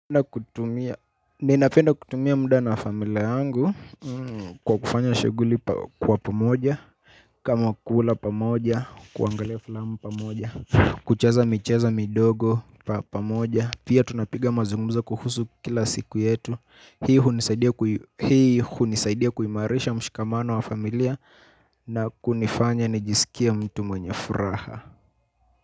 Ninapenda kutumia muda na familia yangu kwa kufanya shughuli kwa pamoja, kama kula pamoja, kuangalia filamu pamoja kucheza michezo midogo pamoja. Pia tunapiga mazungumzo kuhusu kila siku yetu. Hii hunisaidia hunisaidia kuimarisha mshikamano wa familia na kunifanya nijisikie mtu mwenye furaha.